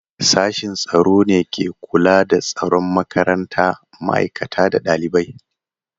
Sashin tsaro ne ke kula da tsaron makaranta, ma'aikata da ɗalibai.